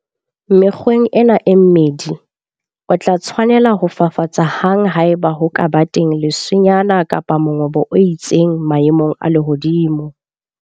Mekgweng ena e mmedi, o tla tshwanela ho fafatsa hang haeba ho ka ba teng leswenyana kapa mongobo o itseng maemong a lehodimo.